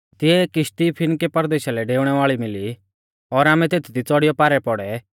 तिऐ एक किश्ती फिनके परदेशा लै डेउणै वाल़ी मिली और आमै तेथदी च़ौड़ीयौ च़ाल पौड़ै